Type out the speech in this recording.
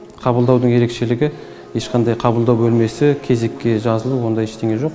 қабылдаудың ерекшелігі ешқандай қабылдау бөлмесі кезекке жазылу ондай ештеңе жоқ